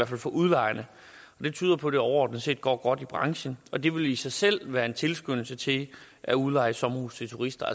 fald for udlejerne og det tyder på at det overordnet set går godt i branchen og det vil i sig selv være en tilskyndelse til at udleje sommerhuse til turister